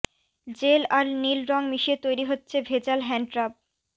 jail আর নীল রং মিশিয়ে তৈরি হচ্ছে ভেজাল হ্যান্ডরাব